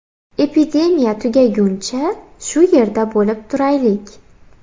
Epidemiya tugaguncha, shu yerda bo‘lib turaylik.